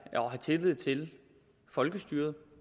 tillid til folkestyret